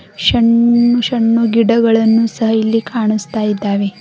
ಶಂ ಶನ್ನು ಗಿಡಗಳನ್ನು ಸಹ ಇಲ್ಲಿ ಕಾಣಿಸ್ತಾ ಇದ್ದಾವೆ.